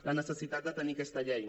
la necessitat de tenir aquesta llei